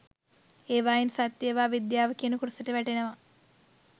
ඒවායින් සත්‍යය ඒවා විද්‍යාව කියන කොටසට වැටෙනවා